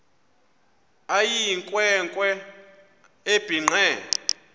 eyinkwe nkwe ebhinqe